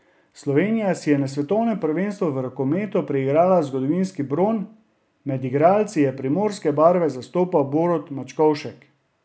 Slovenija si je na svetovnem prvenstvu v rokometu priigrala zgodovinski bron, med igralci je primorske barve zastopal Borut Mačkovšek.